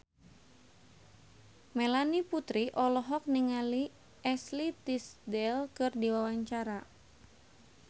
Melanie Putri olohok ningali Ashley Tisdale keur diwawancara